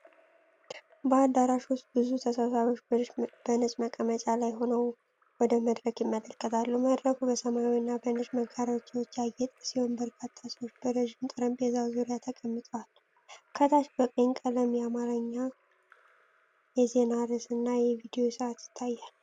በአዳራሽ ውስጥ ብዙ ተሰብሳቢዎች በነጭ መቀመጫዎች ላይ ሆነው ወደ መድረክ ይመለከታሉ። መድረኩ በሰማያዊና በነጭ መጋረጃዎች ያጌጠ ሲሆን፤ በርካታ ሰዎች በረጅም ጠረጴዛ ዙሪያ ተቀምጠዋል። ከታች በቀይ ቀለም የአማርኛ የዜና ርዕስና የቪዲዮ ሰዓት ይታያል።